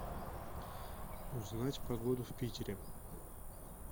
узнать погоду в питере